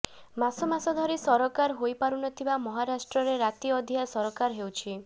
ମାସ ମାସ ଧରି ସରକାର ହୋଇ ପାରୁନଥିବା ମହାରାଷ୍ଟ୍ରରେ ରାତି ଅଧିଆ ସରକାର ହେଉଛି